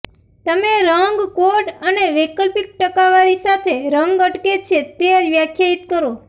તમે રંગ કોડ અને વૈકલ્પિક ટકાવારી સાથે રંગ અટકે છે તે વ્યાખ્યાયિત કરો